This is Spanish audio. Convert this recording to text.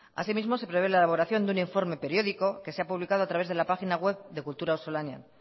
así mismo se prevé la elaboración de un informe periódico que se ha publicado a través de la página web de kultura auzolanean